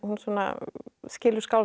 skilur skáldskap